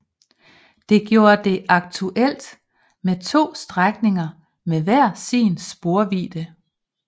Det gjorde det aktuelt med to strækninger med hver sin sporvidde